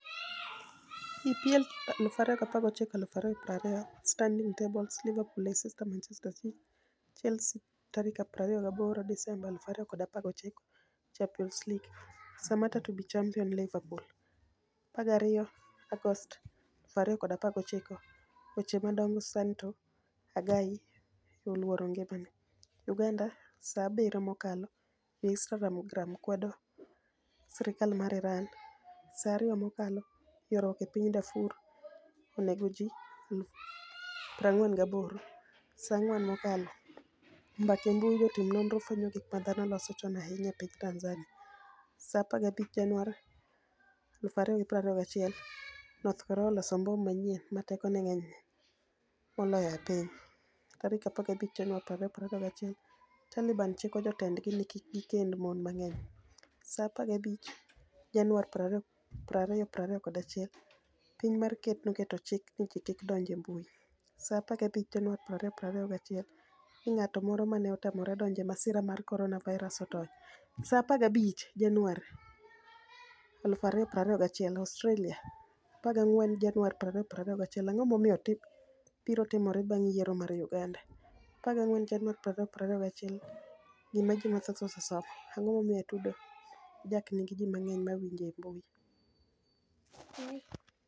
EPL 2019/20 stanidinigs table: Liverpool, Leicester, Manichester City, Chelsea28 Desemba 2019 Championis League: Saamatta to be championi Liverpool. 12 Agost 2019 Weche madonigo Saanito Agai e 'oluoro nigimani e' . Uganida Saa 7 mokalo Jo-Inistagram kwedo sirkal mar Irani Saaa 2 mokalo Ywaruok e piniy Darfur oni ego ji 48Saa 4 mokalo .Mbaka e mbui Jotim noniro fweniyo gik ma dhano noloso choni ahiniya e piniy Tanizaniia. Saa 15 Janiuar 2021 north Korea oloso mbom maniyieni 'ma tekoni e nig'eniy moloyo e piniy . 15 Janiuar 2021 Talibani chiko jotenidgi nii kik gikenid moni manig'eniy. Saa 15 Janiuar 2021 Piniy ma ker noketo chik nii ji kik donij e mbui .Saa 15 Janiuar 2021 nig'at moro ma ni e otamore donij e masira mar koroniavirus otoniy . Saa 15 Janiuar 2021 Australia 14 Janiuar 2021 Anig'o mabiro timore banig' yiero mar Uganida? 14 Janiuar 2021 Gima Ji mathoth Osesomo. Anig'o momiyo Atudo jack niigi ji manig'eniy ma winije e e mbui?